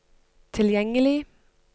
tilgjengelig